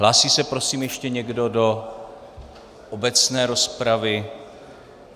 Hlásí se, prosím, ještě někdo do obecné rozpravy?